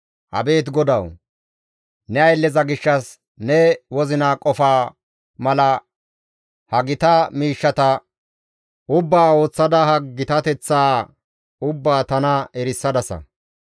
Abeet GODAWU! Ne aylleza gishshas ne wozina qofaa mala ha gita miishshata ubbaa ooththada ha gitateththaa ubbaa tana erisadasa.